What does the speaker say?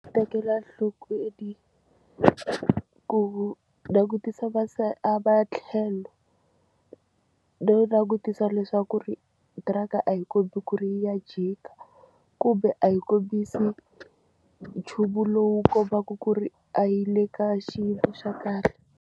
Tekela nhlokweni ku langutisa ma se a va tlhelo no langutisa leswaku ri tiraka a hi kombi ku ri yi ya jika kumbe a hi kombisi nchumu lowu kombaka ku ri a yi le ka xiyimo xa kahle.